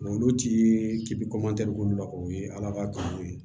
Olu ti bi olu la o ye ala ka kanu ye